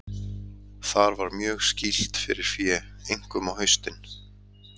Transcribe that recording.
Þar var mjög skýlt fyrir fé, einkum á haustin.